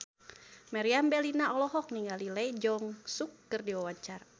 Meriam Bellina olohok ningali Lee Jeong Suk keur diwawancara